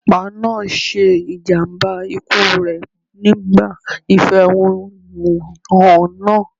Ọlọ́pàá náà ṣe ìjàmbá ikú rẹ̀ nígbà ìfẹ̀húnú hàn náà.